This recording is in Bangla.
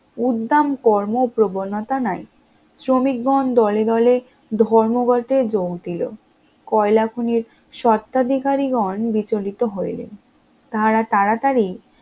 উদ্দাম কর্ম প্রবণতা নাই শ্রমিকগণ দলে দলে ধর্মঘটে যোগ দিলো, কয়লা খনির স্বত্বাধিকারী গন বিচলিত হইলেন, তাহারা তাড়াতাড়ি